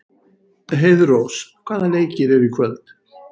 Heiðrós, hvaða leikir eru í kvöld?